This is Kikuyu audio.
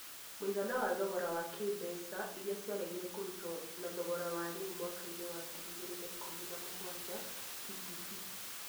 Mũigana wa thogora wa kĩĩmbeca wa mbeca iria ciaregire kũrutwo na thogora wa rĩu (mwaka –inĩ wa ngiri igĩrĩ na ikũmi na mũgwanja PPP).